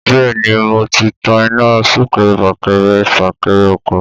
Bẹ́ẹ̀ ni, mo ti tan iná súnkẹrẹ-fàkẹrẹ-fàkẹrẹ ọkọ̀.